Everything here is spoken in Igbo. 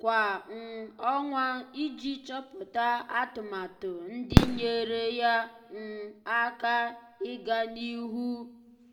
kwa um ọnwa iji chọ́pụ́tá atụmatụ ndị nyéeré yá um áká um iganịhụ karịa.